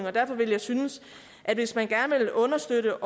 og derfor vil jeg synes at hvis man gerne vil understøtte